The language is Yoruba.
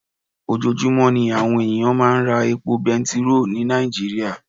Ojoojúmọ́ ní àwọn ènìyàn máa ń ra epo bẹntiróò ní Nàìjíríà.